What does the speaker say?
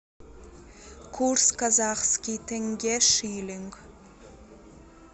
курс казахский тенге шиллинг